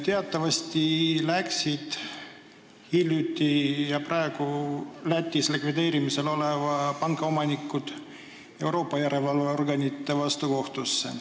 Teatavasti läksid praegu Lätis likvideerimisel oleva panga omanikud Euroopa järelevalveorganite vastu kohtusse.